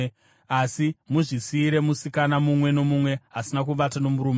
asi muzvisiyire musikana mumwe nomumwe asina kuvata nomurume.